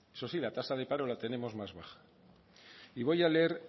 eso sí la tasa de paro la tenemos más baja y voy a leer